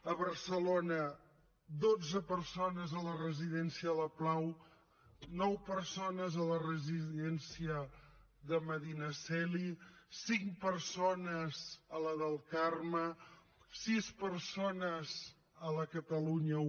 a barcelona dotze persones a la residència la pau nou perso nes a la residència de medinaceli cinc persones a la del carme sis persones a la de catalunya i